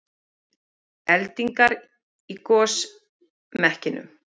Eldingar í gosmekkinum